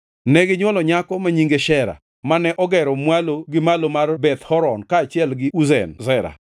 Neginywolo nyako ma nyinge Shera, mane ogero Mwalo gi Malo mar Beth Horon kaachiel gi Uzen Shera.